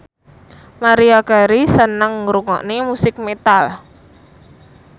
Maria Carey seneng ngrungokne musik metal